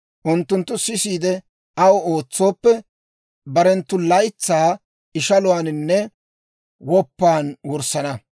Unttunttu sisiide, aw ootsooppe, barenttu laytsaa ishaluwaaninne woppan wurssana.